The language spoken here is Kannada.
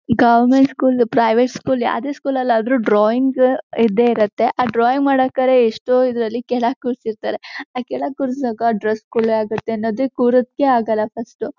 ಗವರ್ನಮೆಂಟ್ ಸ್ಕೂಲ್ ಪ್ರೈವೇಟ್ ಸ್ಕೂಲ್ ಯಾವದೇ ಸ್ಕೂಲ್ ಅಲ್ಲಿ ಆದ್ರೂ ಡ್ರಾಯಿಂಗ್ ಇದ್ದೆ ಇರುತ್ತೆ ಆ ಡ್ರಾಯಿಂಗ್ ಮಾಡೋಕಡೆ ಎಷ್ಟೋ ಇದ್ರಲ್ಲಿ ಕೆಳಗೆ ಕುರಿಸಿರತರೇ ಆ ಕೆಳಗೆ ಕುರಸವಾಗ ಡ್ರೆಸ್ ಕೊಳೆ ಆಗುತ್ತೆ ಅನ್ನೋದಕ್ಕೂ ಕುರಕ್ಕೆ ಆಗಲ್ಲಾ ಫಸ್ಟ್ .